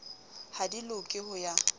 ha di loke ho ya